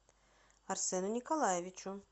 арсену николаевичу